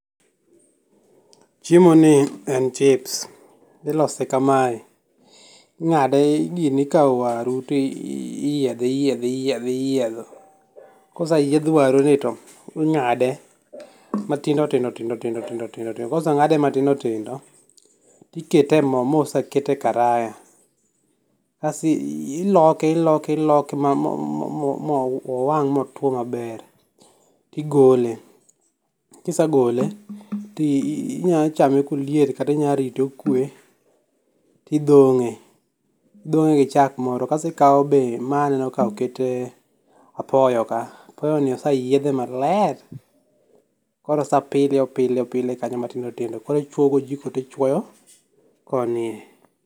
Chiemo ni en chips, ilose kamae inga'de ikawo waru ti iyiethe iyiethe iyietho, koseyieth waruni to inga'de matindi matindo kosenga'de matindo tindo tikete e mo ma osekete e karaya kasto iloke iloke iloke ma mowang' motwo maber igole, kisegole ti inya chame koliet kata inyalorite okwe tithonge, ithonge' gi chak moro kasto ikawo be mae aneno ka be okete apoyo kae, apoyoni oseyiethe maler koro osepile opile opilne kanyo matindo tindo koro ichwogojiko ti chwoyo konie.